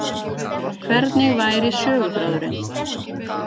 Hvernig væri söguþráðurinn